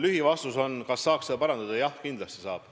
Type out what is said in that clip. Lühivastus, kas saaks seda parandada, on: jah, kindlasti saab.